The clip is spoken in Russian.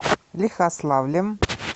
лихославлем